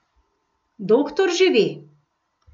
Doktor že ve.